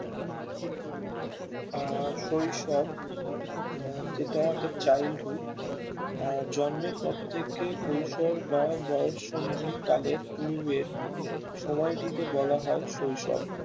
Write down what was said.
আহ শৈশব আহ যেটা The childhood জন্মের পর থেকে কৈশর বা বয়োসন্ধি কালের পূর্বের সময় টিকে বলা হয়ে শৈশব